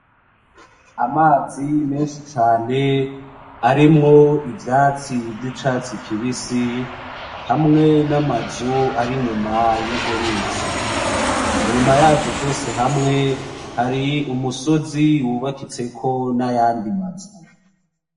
Amazi menshi cane arimwo ivyatsi vy'icatsi kibisi hamwe n'amazu ari inyuma yurwo ruzi .Inyuma yavyo vyose hamwe ,hari umusozi wubatseko nayandi mazu.